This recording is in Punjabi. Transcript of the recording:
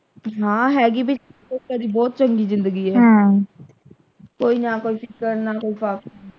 ਹਾਂ ਹੈਗੀ ਬਈ ਦੀ ਬਹੁਤ ਚੰਗੀ ਜਿੰਦਗੀ ਹੈ ਹਮ ਕੋਈ ਨਾ ਕੁਛ ਕਰਨ ਨਾਲੋਂ।